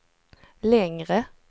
längre